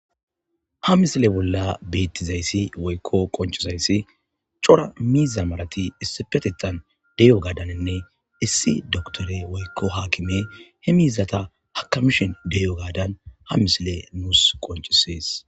ha misile bolla beettizayssi woykko qoncisayssi cora miiza marati issi petetan deyo gadaninne issi doktore woykko haakime he miizata hakamishen deyo gaadan ha misile nuus qoncisees